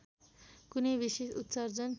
कुनै विशेष उत्सर्जन